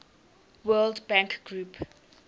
world bank group